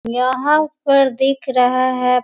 यहां पर दिख रहा है।